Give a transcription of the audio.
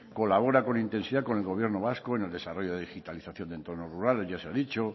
colabora con intensidad con el gobierno vasco en el desarrollo de digitalización en entorno rurales ya se ha dicho